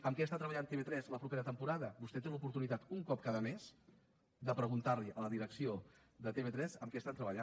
en què treballa tv3 la propera temporada vostè té l’oportunitat un cop cada mes de preguntar a la direcció de tv3 en què treballa